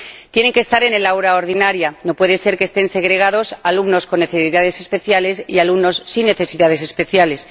Tienen que estar en el aula ordinaria no puede ser que estén segregados alumnos con necesidades especiales y alumnos sin necesidades especiales.